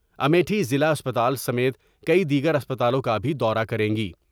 امیٹھی ضلع اسپتال سمیت کئی دیگر اسپتالوں کا بھی دورہ کریں گی ۔